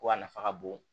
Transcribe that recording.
Ko a nafa ka bon